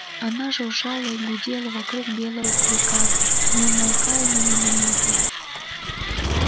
она жужжала и гудела вокруг белого клыка не умолкая ни на минуту